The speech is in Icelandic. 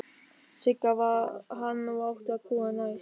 Sigga varð hann og átti að grúfa næst.